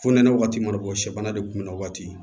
Fonɛnɛ wagati ma bɔ sɛ bana de kunbɛn o waati